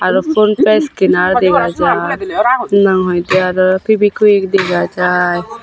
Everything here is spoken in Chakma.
aro Phonepay scanner dega jar henahoidey aro feviquick dega jai.